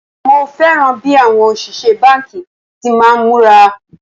Mo fẹ́ràn bí àwọn òṣìṣẹ́ báńkì ti máa ń múra